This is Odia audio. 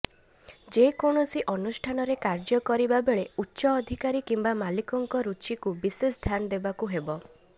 ଯେକୌଣସି ଅନୁଷ୍ଠାନରେ କାର୍ଯ୍ୟ କରିବାବେଳେ ଉଚ୍ଚ ଅଧିକାରୀ କିମ୍ବା ମାଲିକଙ୍କ ରୁଚିକୁ ବିଶେଷ ଧ୍ୟାନ ଦେବାକୁ ହେବ